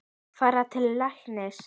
Fara til læknis?